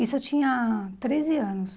Isso eu tinha treze anos.